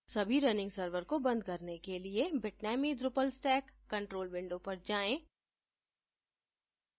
सभी running servers को बंद करने के लिए bitnami drupal stack control window पर जाएँ